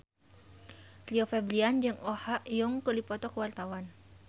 Rio Febrian jeung Oh Ha Young keur dipoto ku wartawan